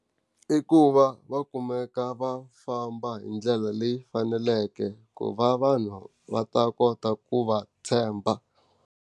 I ku va va kumeka va famba hi ndlela leyi faneleke ku va vanhu va ta kota ku va tshemba.